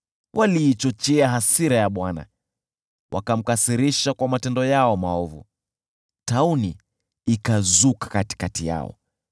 Waliichochea hasira ya Bwana , wakamkasirisha kwa matendo yao maovu, nayo tauni ikazuka katikati yao.